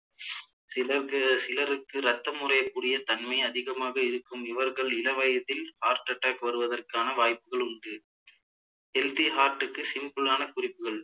சில பேர் சிலருக்கு இரத்தம் உரையக்கூடிய தன்மை அதிகமாக இருக்கும் இவர்கள் இளவயதில் heart attack வருவதற்கான வாய்ப்புகள் உண்டு healthy heart க்கு simple ஆன குறிப்புகள்